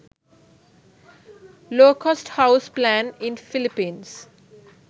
low cost house plan in philippines